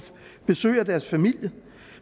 besøg af deres familie